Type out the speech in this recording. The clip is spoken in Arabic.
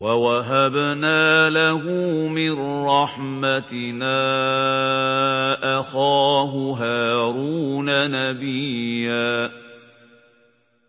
وَوَهَبْنَا لَهُ مِن رَّحْمَتِنَا أَخَاهُ هَارُونَ نَبِيًّا